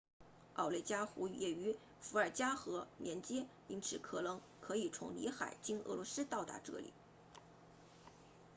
奥内加湖 lake onega 也与伏尔加河 volga 连接因此可能可以从里海 caspian sea 经俄罗斯到达这里